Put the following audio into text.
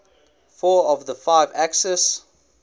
four of the five axis